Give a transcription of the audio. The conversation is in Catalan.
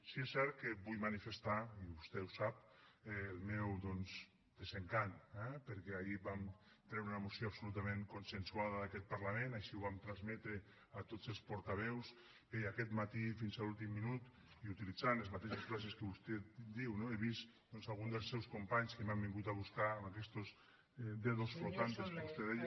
sí que és cert que vull manifestar i vostè ho sap el meu desencant eh perquè ahir vam treure una moció absolutament consensuada d’aquest parlament així ho vam transmetre a tots els portaveus bé i aquest matí fins a l’últim minut i utilitzant les mateixes frases que vostè diu no he vist doncs algun dels seus companys que m’han vingut a buscar amb aquestos dedos flotantes que vostè deia